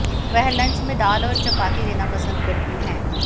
वह लंच में दाल और चपाती लेना पसंद करती हैं